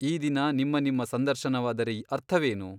ಈ ದಿನ ನಿಮ್ಮ ನಿಮ್ಮ ಸಂದರ್ಶನವಾದರೆ ಅರ್ಥವೇನು ?